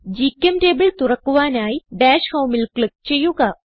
ഗ്ചെംറ്റബിൾ തുറക്കുവാനായി ഡാഷ് Homeൽ ക്ലിക്ക് ചെയ്യുക